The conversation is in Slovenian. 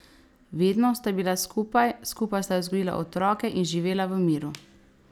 Vedno sta bila skupaj, skupaj sta vzgojila otroke in živela v miru.